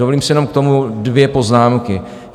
Dovolím si jenom k tomu dvě poznámky.